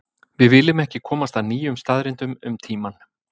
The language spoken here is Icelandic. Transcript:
Við viljum ekki komast að nýjum staðreyndum um tímann.